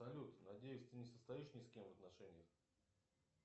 салют надеюсь ты не состоишь ни с кем в отношениях